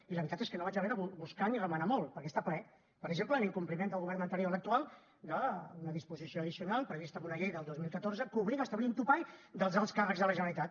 i la veritat és que no vaig haver de buscar ni remenar molt perquè n’està ple per exemple en incompliment del govern anterior a l’actual d’una disposició addicional prevista en una llei del dos mil catorze que obliga a establir un topall dels alts càrrecs de la generalitat